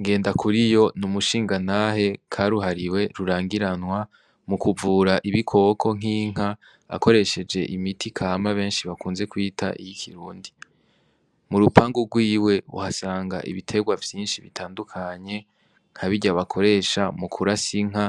Ngendakuriyo n'umushingantahe karuhariwe rurangiranwa mu kuvura ibikoko nk'inka akoresheje imiti kama benshi bakunze kwita iy'ikirundi, mu rupanga rwiwe uhasanga ibiterwa vyinshi bitandukanye nkabirya bakoresha mu kurasa inka